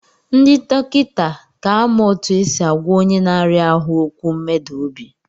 Ndị dọkịta ka amụ otu esi agwa onye n'aria ahụ okwu mmeda obi.